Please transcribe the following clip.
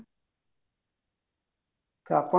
ତ ଆପଣଙ୍କର